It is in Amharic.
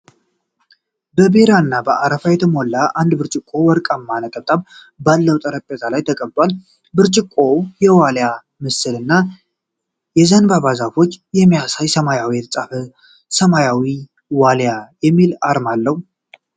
በቢራ እና በአረፋ የተሞላ አንድ ብርጭቆ ወርቃማ ነጠብጣብ ባለው ጠረጴዛ ላይ ተቀምጧል። ብርጭቆው የዋልያ ምስልን እና የዘንባባ ዛፎችን የሚያሳይ በሰማያዊ የተጻፈ ሰማያዊ ዋልያ የሚል አርማ አለው።